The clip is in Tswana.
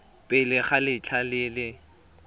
pele ga letlha le le